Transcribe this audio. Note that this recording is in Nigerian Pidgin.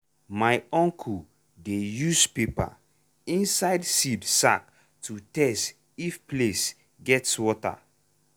my uncle dey use paper inside seed sack to test if place gets water.